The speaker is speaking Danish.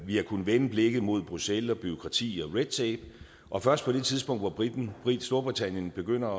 vi har kunnet vende blikket mod bruxelles og bureaukrati og red tape og først på det tidspunkt hvor storbritannien begynder